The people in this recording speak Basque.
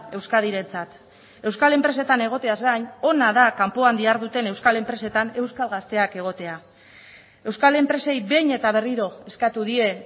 euskadirentzat euskal enpresetan egoteaz gain ona da kanpoan diharduten euskal enpresetan euskal gazteak egotea euskal enpresei behin eta berriro eskatu die